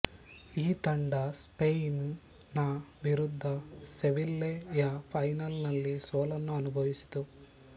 ಈ ತಂಡ ಸ್ಪ್ಯೇನ್ ನ ವಿರುದ್ಧ ಸೆವಿಲ್ಲೆ ಯ ಫೈನಲ್ ನಲ್ಲಿ ಸೋಲನ್ನು ಅನುಭವಿಸಿತು